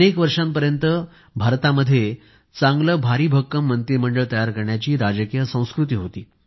अनेक वर्षांपर्यंत भारतामध्ये भरभक्कम मंत्रिमंडळ तयार करण्याची राजकीय संस्कृती होती